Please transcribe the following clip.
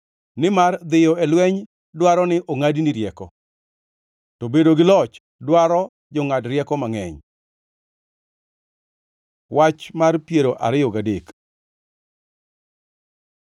nimar dhiyo e lweny dwaro ni ongʼadni rieko, to bedo gi loch dwaro jongʼad rieko mangʼeny. Wach mar piero ariyo gadek